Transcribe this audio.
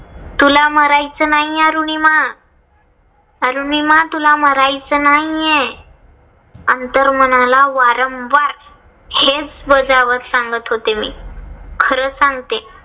तुला मरायचं नाही अरुनिमा? अरुनिमा तुला मरायचं नाहीय. अंर्तमनाला वारंवार हेच बजावत सांगत होते मी. खर सांगते